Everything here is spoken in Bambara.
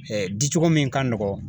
di cogo min ka nɔgɔn